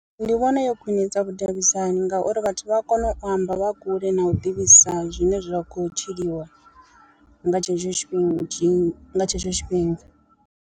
Ndi vhona yo khwiṋidza vhudavhidzani ngauri vhathu vha kona u amba vha kule na u ḓivhisa zwine zwa kho tshiliwa nga tshetsho tshifhi tshi nga tshetsho tshifhinga.